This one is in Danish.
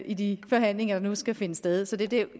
i de forhandlinger der nu skal finde sted så det er det